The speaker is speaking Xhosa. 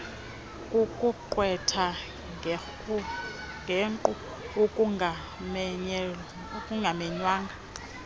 kukuqwetha ngenkqu okungamenywanga